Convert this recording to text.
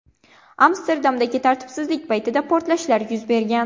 Amsterdamdagi tartibsizlik paytida portlashlar yuz bergan .